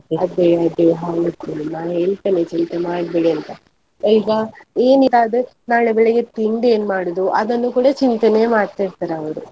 ಅದೇ ಅದೇ ಹೌದು ನಾನ್ ಹೇಳ್ತೆನೆ ಚಿಂತೆ ಮಾಡ್ಬೇಡಿ ಅಂತ, ಈಗ ಏನಿಲ್ಲ ಆದ್ರೆ ನಾಳೆ ಬೆಳಿಗ್ಗೆ ತಿಂಡಿ ಏನ್ ಮಾಡುದು ಅದನ್ನು ಕೂಡ ಚಿಂತೆನೆ ಮಾಡ್ತಾ ಇರ್ತಾರೆ ಅವ್ರು.